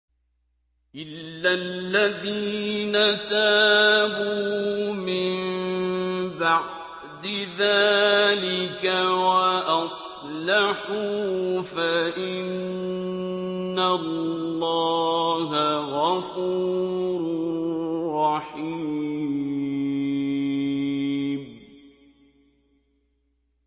إِلَّا الَّذِينَ تَابُوا مِن بَعْدِ ذَٰلِكَ وَأَصْلَحُوا فَإِنَّ اللَّهَ غَفُورٌ رَّحِيمٌ